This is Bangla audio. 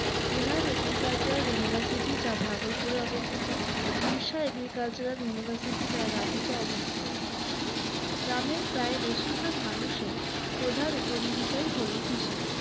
biharagriculturaluniversity যা ভাগলপুরে অবস্থিত birsa agricultural university যা ranchi তে অবস্থিত গ্রামের প্রায় বেশিরভাগ মানুষের প্রধান উপজীবিকাই হল কৃষি